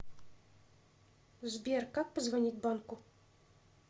сбер как позвонить банку